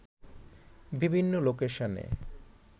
বিভিন্ন লোকেশনে